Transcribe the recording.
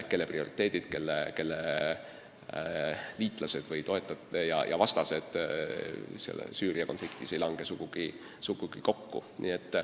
Nende prioriteedid, nende liitlased, toetajad ja vastased Süüria konfliktis ei lange sugugi kokku.